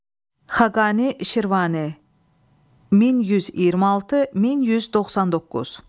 Xaqani Şirvani 1126-1199.